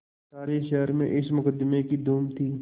सारे शहर में इस मुकदमें की धूम थी